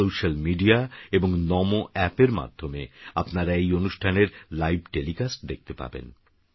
সোস্যালমিডিয়াএবং নমোঅ্যাপএরমাধ্যমেআপনারাএইঅনুষ্ঠানেরলাইভটেলিকাস্টদেখতেপাবেন